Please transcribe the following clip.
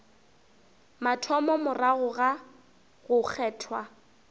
mathomo morago ga go kgethwa